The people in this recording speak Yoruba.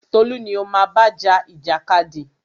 Tolú ni o má bá ja ìjàkadì!